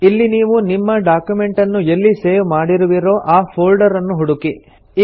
ಇಲ್ಲಿ ನೀವು ನಿಮ್ಮ ಡಾಕ್ಯುಮೆಂಟನ್ನು ಎಲ್ಲಿ ಸೇವ್ ಮಾಡಿರುವಿರೋ ಆ ಫೋಲ್ಡರನ್ನು ಹುಡುಕಿ